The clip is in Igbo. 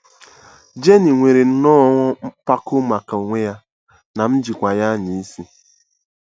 Jenny nwere nnọọ mpako maka onwe ya - na m jikwa ya anya isi. ”